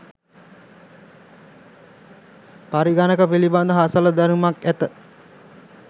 පරිගණක පිළිබඳ හසල දැනුමක් ඇත.